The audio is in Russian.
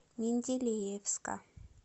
менделеевска